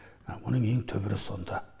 оның ең түбірі сонда